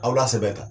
Aw lasɛbɛn ka